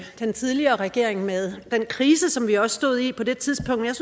den tidligere regering med den krise som vi også stod i på det tidspunkt jeg